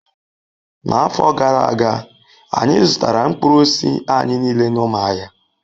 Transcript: N'afọ gara aga, anyị zụtara mkpụrụ osisi anyị niile n'Umuahia